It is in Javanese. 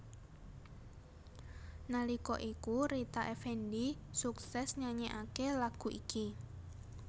Nalika iku Rita Effendy suksès nyanyèkaké lagu iki